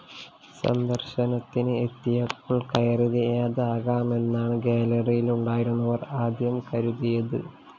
സന്ദര്‍ശനത്തിന് എത്തിയപ്പോള്‍ കയറിയതാകാമെന്നാണ് ഗ്യാലറിയിലുണ്ടായിരുന്നവര്‍ ആദ്യം കരുതിയത്